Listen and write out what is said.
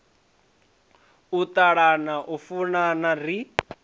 u ṱalana u funana ri